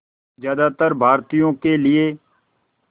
ज़्यादातर भारतीयों के लिए